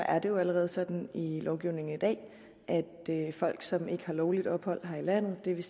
er det jo allerede sådan i lovgivningen i dag at folk som ikke har lovligt ophold her i landet det vil